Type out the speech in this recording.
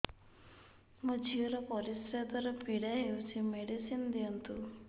ମୋ ଝିଅ ର ପରିସ୍ରା ଦ୍ଵାର ପୀଡା ହଉଚି ମେଡିସିନ ଦିଅନ୍ତୁ